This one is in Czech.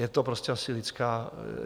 Je to prostě asi lidská...